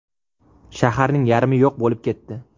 Shaharning yarmi yo‘q bo‘lib ketdi.